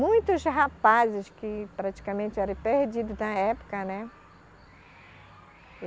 Muitos rapazes que praticamente eram perdidos na época, né?